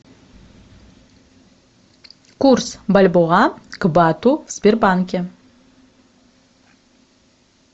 курс бальбоа к бату в сбербанке